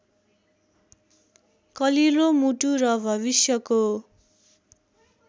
कलिलो मुटु र भविष्यको